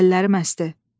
Əllərim əsdi.